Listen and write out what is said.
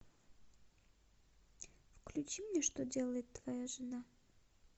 включи мне что делает твоя жена